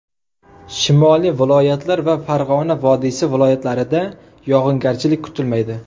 Shimoliy viloyatlar va Farg‘ona vodiysi viloyatlarida yog‘ingarchilik kutilmaydi.